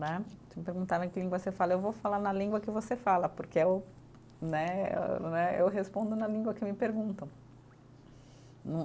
Né, se me perguntarem em que língua você fala, eu vou falar na língua que você fala, porque é o né, eh né, eu respondo na língua que me perguntam.